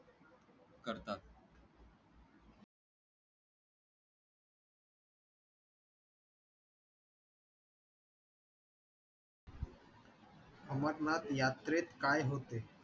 अमरनाथ यात्रेत काय होते?